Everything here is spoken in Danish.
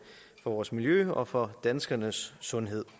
for vores miljø og for danskernes sundhed